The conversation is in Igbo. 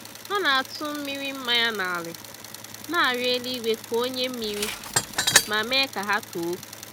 Ha na-atụmmiri mmañya n'ala, na-arịọ eluigwe ka o nye mmiri, ma mee ka ha too